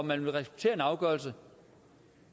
man vil respektere en afgørelse